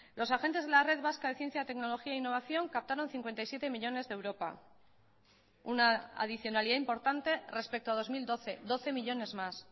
los agentes de la red vasca de ciencia tecnología e innovación captaron cincuenta y siete millónes de europa una adicionalidad importante respecto a dos mil doce doce millónes más